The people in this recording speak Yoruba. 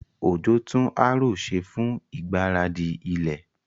Ojo tún harrow ṣe fún ìgbáradì ilẹ̀.